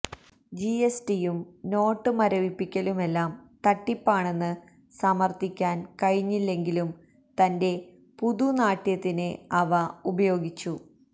ജിഎസ്ടിയും note മരവിപ്പിക്കലുമെല്ലാം തട്ടിപ്പാണെന്ന് സമര്ത്ഥിക്കാന് കഴിഞ്ഞില്ലെങ്കിലും തന്റെ പുതുനാട്യത്തിന് അവ ഉപയോഗിച്ചു